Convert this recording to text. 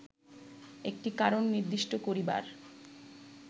একটি কারণ নির্দিষ্ট করিবার